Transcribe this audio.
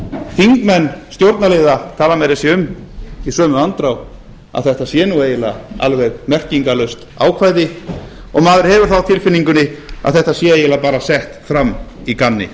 þingmenn stjórnarliða tala meira að segja um í sömu andrá að þetta sé eiginlega alveg merkingarlaust ákvæði og maður hefur það á tilfinningunni að þetta sé eiginlega bara sett fram í gamni